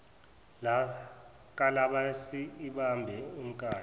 kalabase ibambe umkayo